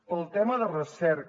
pel tema de recerca